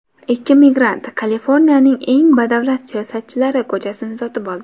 Ikki migrant Kaliforniyaning eng badavlat siyosatchilari ko‘chasini sotib oldi .